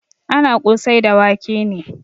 Ana kosai da wake ne.